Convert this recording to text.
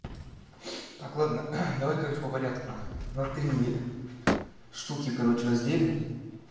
так ладно давай короче по порядку внутри штуки короче разделим